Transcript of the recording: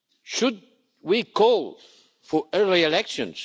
Should we call for early elections?